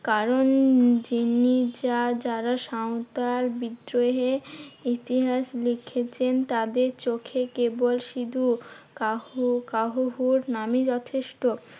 কারণ যিনি যা যারা সাঁওতাল বিদ্রোহে ইতিহাস লিখেছেন, তাদের চোখে কেবল সিধু কাহু~ কানহু নামই যথেষ্ট।